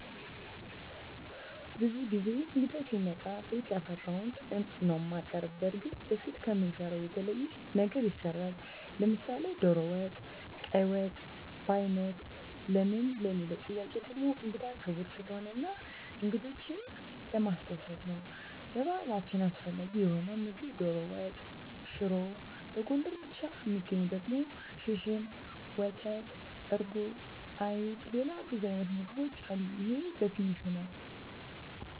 ብዙ ጊዜ እንግዳ ሲመጣ ቤት ያፈራዉን ነዉ እማቀርብ። በርግጥ በፊት ከምንሰራዉ የተለየ ነገር ይሰራል፤ ለምሳሌ ዶሮ ወጥ፣ ቀይ ወጥ፣ በያይነት ለምን ለሚለዉ ጥያቄ ደሞ እንግዳ ክቡር ስለሆነ እና እንግዶችን ለማስደሰት ነዉ። በባህላችን አስፈላጊ የሆነዉ ምግብ ዶሮ ወጥ፣ ሽሮ፣ በጎንደር ብቻ እሚገኝ ደሞ ሽርሽም፣ ወተት፣ እርጎ፣ አይብ፣ ሌላ ብዙ አይነት ምግቦች አሉ ይሄ በትንሹ ነዉ።